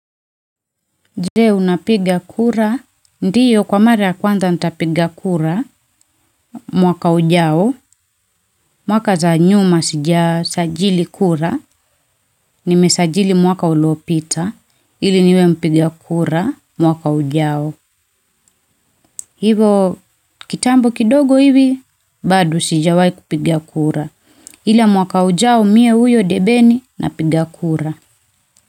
Je unapiga kura, ndiyo kwa mara ya kwanza nitapiga kura, mwaka ujao, mwaka za nyuma sijasajili kura, nimesajili mwaka uliopita, ili niwe mpiga kura, mwaka ujao. Hivo kitambo kidogo hivi, bado sijawahi kupiga kura, ila mwaka ujao mie uyo debeni napiga kura.